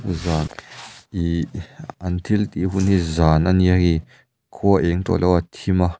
zan ihh an thil tih hun hi zan a nia hei khua a eng tawh lo a a thim a.